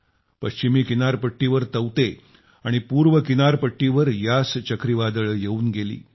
पश्चिमी किनारपट्टीवर तौते आणि पूर्व किनारपट्टीवर यास चक्रीवादळं येवून गेली